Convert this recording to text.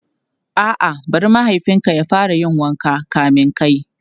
A'a, bari mahaifin ka ya fara yin wanka kamin kai.